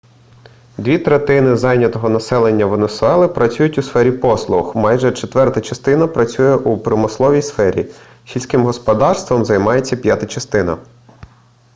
дві третини зайнятого населення венесуели працюють у сфері послуг майже четверта частина працює у промисловій сфері сільським господарством займається п'ята частина